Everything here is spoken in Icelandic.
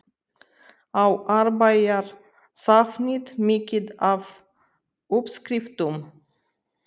Á Árbæjarsafnið mikið af uppskriftum?